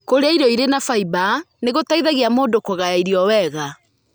Kũrĩa irio irĩ na fiber nĩ gũteithagia mũndũ kũgaya irio wega.